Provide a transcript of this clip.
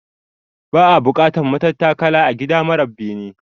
Ba'a bukatar matattakala a gida mara bene